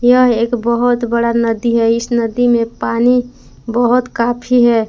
यह एक बहोत बड़ा नदी है इस नदी में पानी बहोत काफी है।